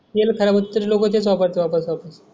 तेल खराब होते तरी लोक लोबच आहे शोबत, शोबत, शोबत.